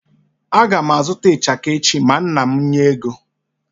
Aga m a zụta ichaka echi ma nna m nye ego.